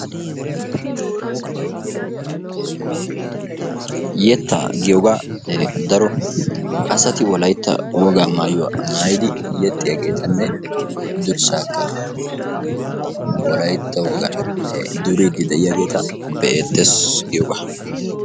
Yettaa giyooga daro asati Wolaytta woga maayLyuwa maayLyidi yexxiyaageetanne durssaakka wolaytta wogan duriiddi de'iyaageeta be'eettes giyooga.